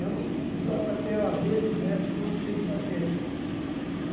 Eu usava até, às vezes, o método peripatético.